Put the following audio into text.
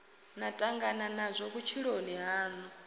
na tangana nazwo vhutshiloni hanu